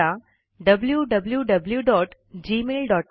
wwwgmailcom